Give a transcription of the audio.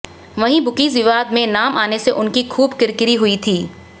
वहीं बुकीज विवाद में नाम आने से उनकी खूब किरकिरी हुई थी